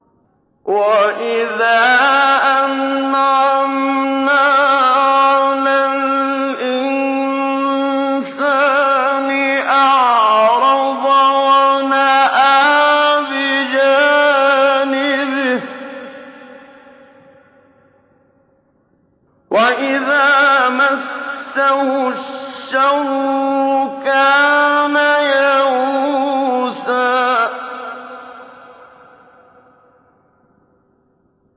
وَإِذَا أَنْعَمْنَا عَلَى الْإِنسَانِ أَعْرَضَ وَنَأَىٰ بِجَانِبِهِ ۖ وَإِذَا مَسَّهُ الشَّرُّ كَانَ يَئُوسًا